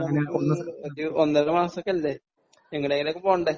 ഒരു ഒന്നര മാസം ഒക്കെ ഇല്ലേ. എങ്ങോടെങ്കിലുമൊക്കെ പോവണ്ടേ?